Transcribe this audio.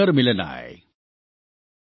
इतिविदा पुनर्मिलनाय